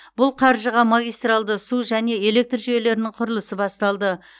бұл қаржыға магистральды су және электр жүйелерінің құрылысы басталды